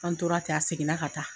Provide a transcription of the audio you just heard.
An tora ten a segin na ka taa.